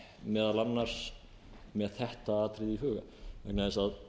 meðal annars með þetta atriði í huga vegna þess að